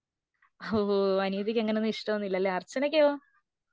ഹോഓ അനിയത്തിക്ക് അങ്ങനൊന്നും ഇഷ്ട ഒന്നുമില്ലല്ലേ അർച്ചനയ്ക്കോ?